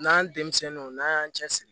N'an denmisɛnninw n'an y'an cɛ siri